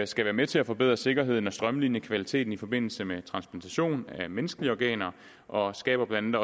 skal være med til at forbedre sikkerheden og strømline kvaliteten i forbindelse med transplantation af menneskelige organer og skaber blandt